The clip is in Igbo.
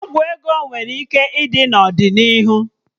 Ọgwụ ego nwere ike ịdi n'ọdịnihu